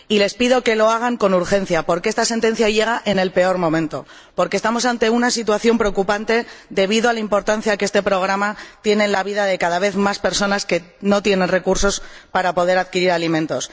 Y les pido que lo hagan con urgencia, porque esta sentencia llega en el peor momento, porque estamos ante una situación preocupante debido a la importancia que este programa tiene en la vida de cada vez más personas que no disponen de recursos para poder adquirir alimentos.